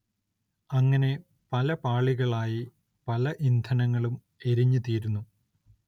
അങ്ങനെ പല പാളികളായി പല ഇന്ധനങ്ങളും എരിഞ്ഞുതീരുന്നു.